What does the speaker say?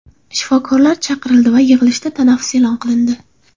Shifokorlar chaqirildi va yig‘ilishda tanaffus e’lon qilindi.